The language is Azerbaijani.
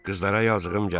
Qızlara yazığım gəldi.